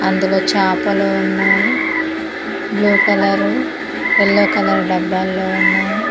అందులో చాపలు ఉన్నాయి బ్లూ కలరు ఎల్లో కలర్ డబ్బాల్లో ఉన్నాయ్.